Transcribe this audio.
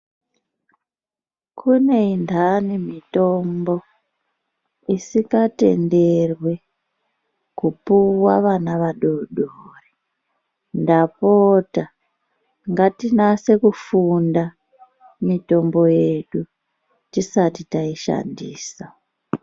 Kune ndani mitombo isingatenderwi kupiwa vana vadoodori ndapota ngatinase kufunda mitombo yedu tisati taishandisa.